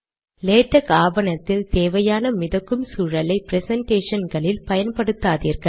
LaTeX ஆவணத்தில் தேவையான மிதக்கும் சூழலை ப்ரெசன்டேஷன்களில் பயன்படுத்தாதீர்கள்